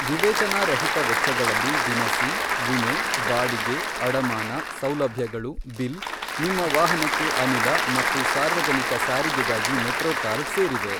ವಿವೇಚನಾರಹಿತ ವೆಚ್ಚಗಳಲ್ಲಿ ದಿನಸಿ, ವಿಮೆ, ಬಾಡಿಗೆ , ಅಡಮಾನ, ಸೌಲಭ್ಯಗಳು , ಬಿಲ್, ನಿಮ್ಮ ವಾಹನಕ್ಕೆ ಅನಿಲ ಮತ್ತು ಸಾರ್ವಜನಿಕ ಸಾರಿಗೆಗಾಗಿ ಮೆಟ್ರೋ ಕಾರ್ಡ್ ಸೇರಿವೆ.